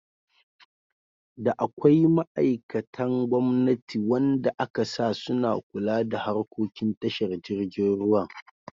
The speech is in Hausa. Da akwai ma'aikatan gwamnati wanda akasa suna kula da harkokin tashar jirgin ruwan.